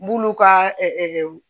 N b'ulu ka